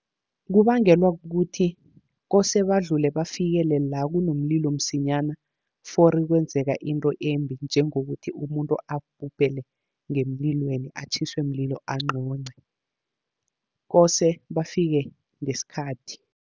Kubangelwa kukuthi kose badlule bafikele la kunomlilo msinyana, fori kwenzeka into embi njengokuthi umuntu abhubhele ngemlilweni, atjhiswe mlilo anqonce kose bafike ngesikhathi.